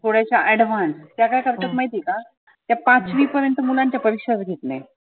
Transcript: थोड्याश्या advance त्या काय करतात महिती आहे का? त्या पचवी पर्यंत मुलांच्या परिक्षाच घेत नाहीत.